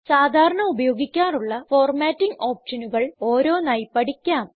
സാധാരാണ ഉപയോഗിക്കാറുള്ള ഫോർമാറ്റിംഗ് ഓപ്ഷനുകൾ ഓരോന്നായി പഠിക്കാം